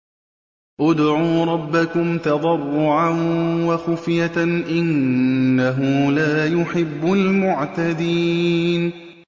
ادْعُوا رَبَّكُمْ تَضَرُّعًا وَخُفْيَةً ۚ إِنَّهُ لَا يُحِبُّ الْمُعْتَدِينَ